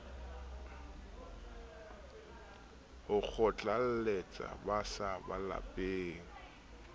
ho kgotlalletsa ba sa bapaleng